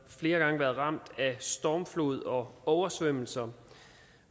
flere gange været ramt af stormflod og oversvømmelser